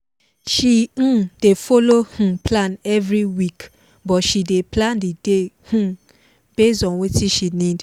she um dey follow um plan every week but she dey plan the day um base on watin she need